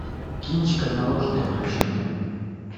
кинчик отмороженные включи мне